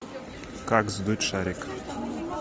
как сдуть шарик